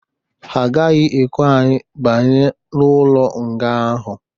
Ha gaghị ekwe anyi banye ụlo nga ahụ